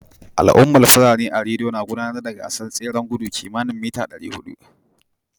Al'ummar Fulani a Rido na gudanar da gasar tseren gudu kimani mita 400